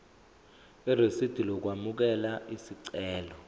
irisidi lokwamukela isicelo